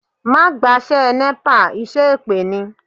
Má gbaṣẹ́ Nepa, iṣẹ́ èpè ni